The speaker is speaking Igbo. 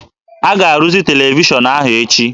A ga-arụzi televishọnụ ahụ echi